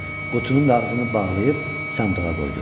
Qutunun da ağzını bağlayıb sandığa qoydu.